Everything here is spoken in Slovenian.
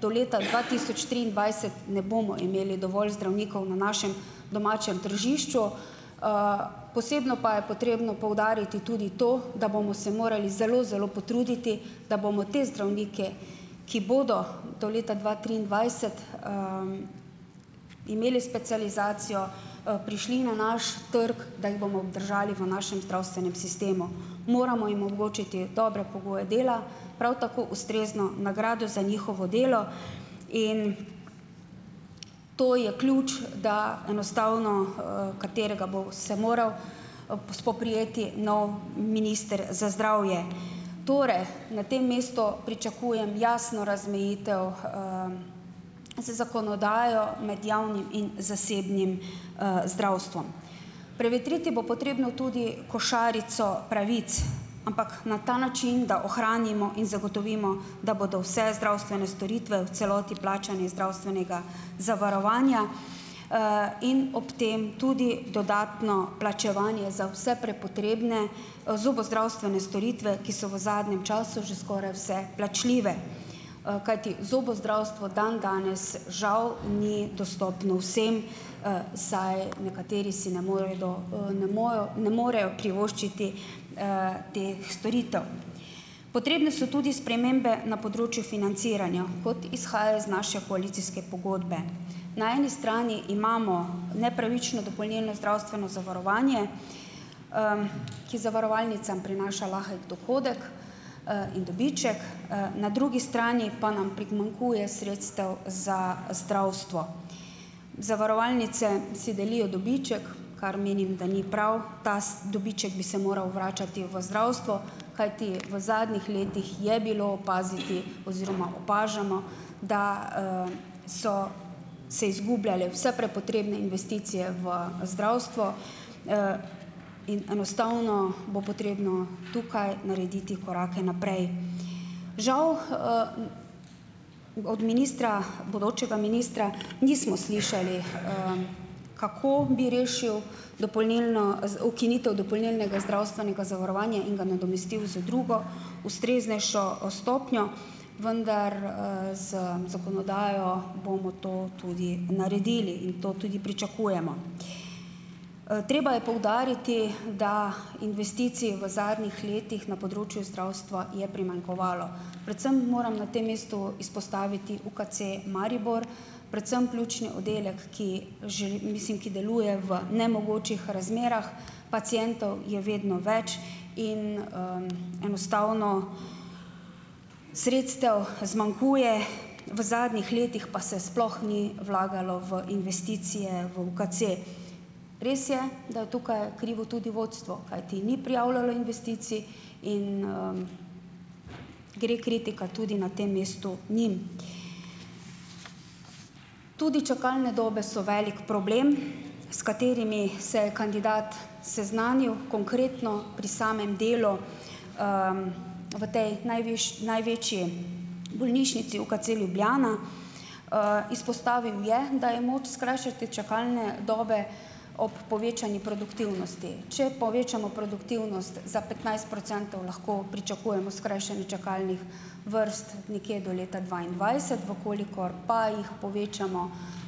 do leta dva tisoč triindvajset ne bomo imeli dovolj zdravnikov na našem domačem tržišču, posebno pa je potrebno poudariti tudi to, da bomo se morali zelo, zelo potruditi, da bomo te zdravnike, ki bodo do leta dva triindvajset imeli specializacijo, prišli na naš trg, da jih bomo obdržali v našem zdravstvenem sistemu, moramo jim omogočiti dobre pogoje dela, prav tako ustrezno nagrado za njihovo delo in to je ključ, da enostavno, katerega bo se moral, spoprijeti nov minister za zdravje. Torej, na tem mestu pričakujem jasno razmejitev z zakonodajo med javnim in zasebnim, zdravstvom. Prevetriti bo potrebno tudi košarico pravic, ampak na ta način, da ohranimo in zagotovimo, da bodo vse zdravstvene storitve v celoti plačane iz zdravstvenega zavarovanja in ob tem tudi dodatno plačevanje za vse prepotrebne, zobozdravstvene storitve, ki so v zadnjem času že skoraj vse plačljive, kajti zobozdravstvo dan danes žal ni dostopno vsem, saj ne morejo privoščiti teh storitev. Potrebne so tudi spremembe na področju financiranja, kot izhaja iz naše koalicijske pogodbe. Na eni strani imamo nepravično dopolnilno zdravstveno zavarovanje, ki zavarovalnicam prinaša lahek dohodek, in dobiček, na drugi strani pa nam primanjkuje sredstev za zdravstvo. Zavarovalnice si delijo dobiček, kar menim, da ni prav, ta dobiček bi se moral vračati v zdravstvo, kajti v zadnjih letih je bilo opaziti oziroma opažamo, da so se izgubljale vse prepotrebne investicije v zdravstvo in enostavno bo potrebno tukaj narediti korake naprej. Žal od ministra, bodočega ministra nismo slišali, kako bi rešilo dopolnilno, ukinitev dopolnilnega zdravstvenega zavarovanja in ga nadomestil z drugo, ustreznejšo stopnjo, vendar, z zakonodajo bomo to tudi naredili in to tudi pričakujemo. Treba je poudariti, da investicij v zadnjih letih na področju zdravstva je primanjkovalo, predvsem moram na tem mestu izpostaviti UKC Maribor, predvsem pljučni oddelek, ki že mislim, ki deluje v nemogočih razmerah, pacientov je vedno več in, enostavno sredstev zmanjkuje, v zadnjih letih pa se sploh ni vlagalo v investicije v UKC. Res je, da je tukaj krivo tudi vodstvo, kajti ni prijavljalo investicij in gre kritika tudi na tem mestu njim. Tudi čakalne dobe so velik problem, s katerimi se kandidat seznanil konkretno pri samem delu v tej največji bolnišnici, UKC Ljubljana. Izpostavil je, da je moč skrajšati čakalne dobe ob povečani produktivnosti. Če povečamo produktivnost za petnajst procentov, lahko pričakujemo skrajšanje čakalnih vrst nekje do leta dvaindvajset. V kolikor pa jih povečamo